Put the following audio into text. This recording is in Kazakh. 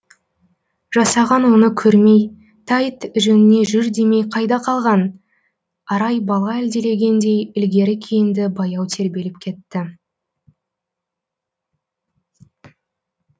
жасаған оны көрмей тәйт жөніңе жүр демей қайда қалған арай бала әлдилегендей ілгері кейінді баяу тербеліп кетті